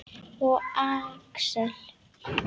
Og Axel.